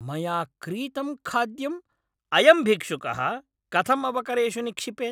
मया क्रीतं खाद्यम् अयं भिक्षुकः कथं अवकरेषु निक्षिपेत्?